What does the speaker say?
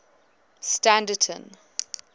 standerton